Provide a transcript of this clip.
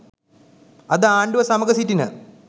අද ආණ්ඩුව සමඟ සිටින